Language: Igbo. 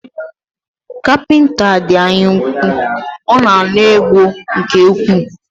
Kapịnta a dị anya úkwú, ọ na ana ego nke ukwuu